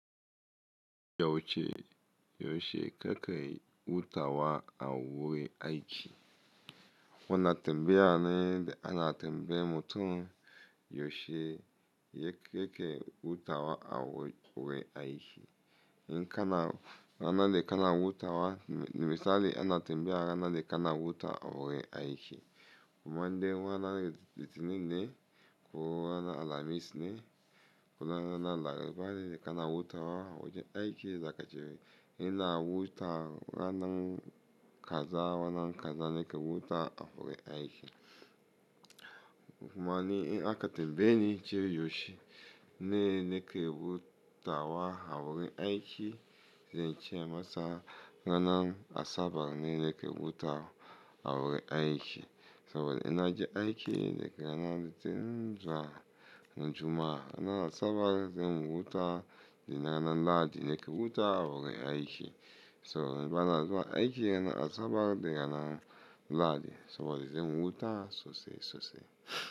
Yoshe, Yoshe keke wuta wa awu aiki. Wona tembe ana, ana tembe mutum Yoshe yake wuta wa awu aiki. In kana, rana da kana wuta wa misali ana tembe rana da kana wuta awu aiki. Kumande wana litininde, ku wana Alhamis ne, ku rana na labari le kana wuta wa aiki zakaci. In na wuta wa na kaza, wa na kaza ne ke wuta awu aiki. Kumani in aka tembeni ce Yoshe ne, ne ke wuta wa awu aiki, ce masa rana asabar ne ne ke wuta awu aiki. So in na je aiki le ke rana litin, juma'a, rana asabar, zem wuta le na rana lahadi ne ke wuta awu aiki. So rana lahadi aiki rana asabar le rana lahadi. So wadi zem wuta sosai sosai.